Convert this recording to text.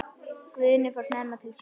Guðni fór snemma til sjós.